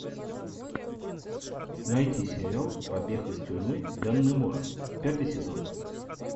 найти сериал побег из тюрьмы даннемора пятый сезон